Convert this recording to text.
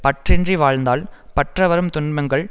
பற்றின்றி வாழ்ந்தால் பற்ற வரும் துன்பங்கள்